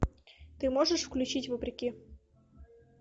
ты можешь включить вопреки